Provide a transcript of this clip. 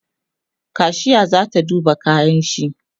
kashiya zata duba kayanshi